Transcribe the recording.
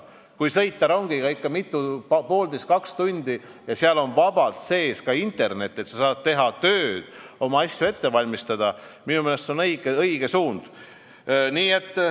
Kui sõita rongiga ikka poolteist või kaks tundi ja seal on vabalt sees ka internet, nii et sa saad teha tööd ja oma asju ette valmistada, siis minu meelest on see õige suund.